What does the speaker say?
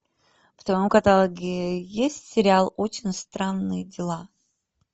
в твоем каталоге есть сериал очень странные дела